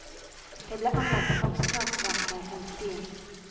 Det ble anlagt forsvarsverker rundt byen.